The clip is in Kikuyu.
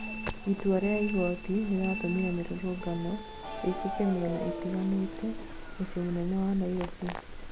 itua rĩa igoti rĩratũmire mĩrũrũngano ĩkĩke mĩena ĩtiganĩte mũciĩ mũnene wa Nairobi